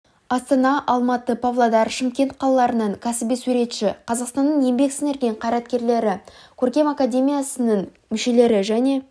астана алматы павлодар шымкент қалаларынан кәсіби суретші қазақстанның еңбек сіңірген қайраткерлері көркем академиясының мүшелері және